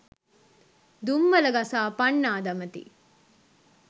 දුම්මල ගසා පන්නා දමති.